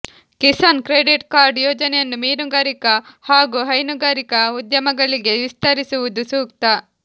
Kisan credit card ಯೋಜನೆಯನ್ನು ಮೀನುಗಾರಿಕಾ ಹಾಗೂ ಹೈನುಗಾರಿಕಾ ಉದ್ಯಮಗಳಿಗೆ ವಿಸ್ತರಿಸಿರುವುದು ಸೂಕ್ತ